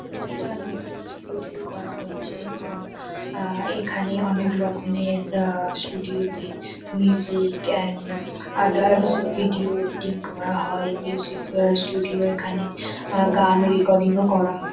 এটা একটা নতুন স্টুডিও করা হয়েছে এবং আ এখানে অনেক রকমের আ স্টুডিও -তে music and others video editing করা হয় মিউজিক স্টুডিও এখানে গান রেকর্ডিং -ও করা হয়।